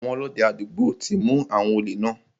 Àwọn Ọlọ́dẹ àdúgbò ti mu àwọn òlè náà.